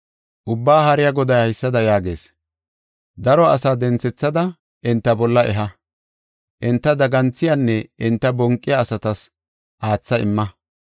Ubbaa Haariya Goday haysada yaagees: “Daro asa denthethada enta bolla eha. Enta daganthiyanne enta bonqiya asatas aatha imma.